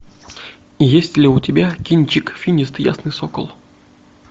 есть ли у тебя кинчик финист ясный сокол